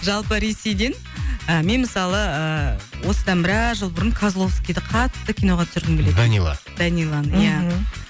жалпы ресейден ы мен мысалы ыыы осыдан біраз жыл бұрын козловскийді қатты киноға түсіргім келетін данила даниланы иә мхм